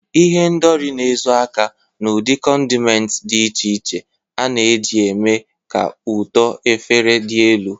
Ihendori na-ezo aka n'ụdị condiments dị iche iche a na-eji eme ka ụtọ efere dị elu.